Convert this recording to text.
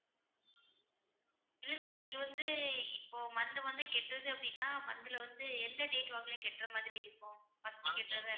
இல்ல sir இது வந்து இப்போ monthly monthly கட்டறது அப்படின்னா monthly ல வந்து எந்த date வாக்குல கட்டுற மாதிரி இருக்கும் monthly கட்டறது